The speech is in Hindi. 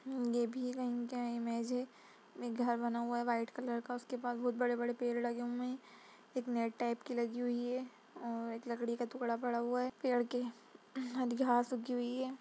ये भी कहीं का इमेज है। एक घर बना हुआ है वाइट कलर का उसके पास बहुत बड़े-बड़े पेड़ लगे हुए हैं एक नेट टाइप की लगी हुई है और एक लकड़ी का टुकड़ा पड़ा हुआ है पेड़ के । हरी घास उगी हुई है।